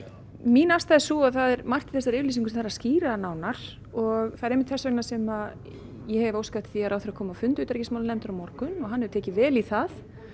mín afstaða er sú að það er margt í þessari yfirlýsingu sem þarf að skýra nánar og það er einmitt þess vegna sem ég hef óskað eftir því að ráðherra komi á fund utanríkismálanefndar á morgun og hann hefur tekið vel í það